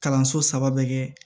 Kalanso saba bɛ kɛ